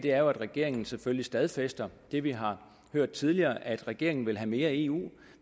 at regeringen selvfølgelig stadfæster det vi har hørt tidligere nemlig at regeringen vil have mere eu